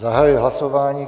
Zahajuji hlasování.